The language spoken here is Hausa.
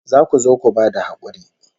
Za ku zo ku ba da hakuri